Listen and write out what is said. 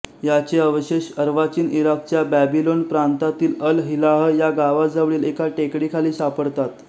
याचे अवशेष अर्वाचीन इराकच्या बॅबिलोन प्रांतातील अल हिल्लाह या गावाजवळील एका टेकडीखाली सापडतात